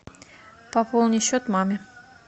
пополни счет маме